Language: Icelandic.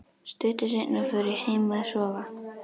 Stuttu seinna fór ég heim að sofa.